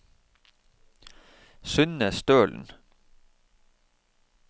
Synne Stølen